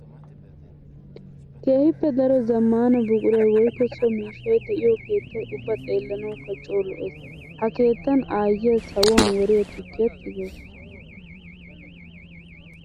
Keehippe daro zamaana buquray woykko so miishshay de'iyo keettay ubba xeellanawukka coo lo'ees. Ha keettan aayiya sawuwan woriya tukkiya tigawusu.